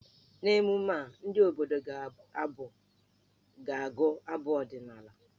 N'emume a, ndị obodo ga-agụ abụ ọdịnaala.